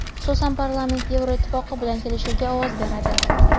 Xususan, parlament Yevropa Ittifoqi bilan kelishuvga ovoz beradi.